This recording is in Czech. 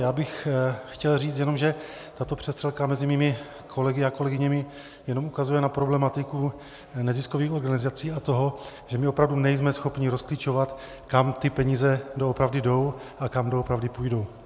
Já bych chtěl říct jenom, že tato přestřelka mezi mými kolegy a kolegyněmi jenom ukazuje na problematiku neziskových organizací a toho, že my opravdu nejsme schopni rozklíčovat, kam ty peníze doopravdy jdou a kam doopravdy půjdou.